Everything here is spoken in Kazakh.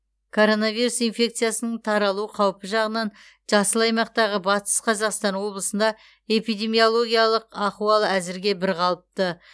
коронавирус инфекциясының таралу қаупі жағынан жасыл аймақтағы батыс қазақстан облысында эпидемиологиялық ахуал әзірге бірқалыпты